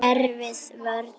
Erfið vörn.